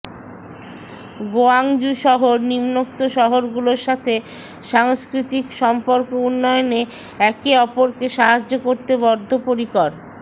Guangzhou শহর নিম্নোক্ত শহরগুলোর সাথে সাংস্কৃতিক সম্পর্ক উন্নয়নে একে অপরকে সাহায্য করতে বদ্ধপরিকর